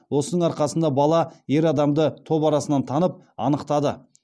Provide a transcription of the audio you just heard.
осының арқасында бала ер адамды топ арасынан танып анықтады